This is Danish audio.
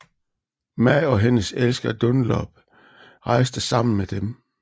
Ma og hendes elsker Dunlop rejste sammen med dem